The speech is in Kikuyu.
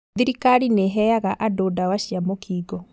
Thirikari nĩheaga andũ ndawa cia mũkingo